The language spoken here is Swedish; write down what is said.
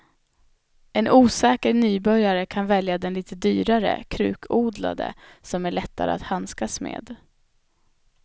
En osäker nybörjare kan välja den lite dyrare krukodlade som är lättare att handskas med.